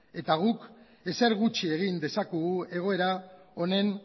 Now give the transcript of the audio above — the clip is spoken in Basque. eta guk ezer gutxi egin dezakegu egoera honen